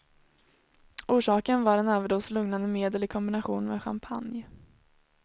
Orsaken var en överdos lugnande medel i kombination med champagne.